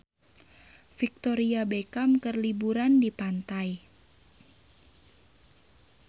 Victoria Beckham keur liburan di pantai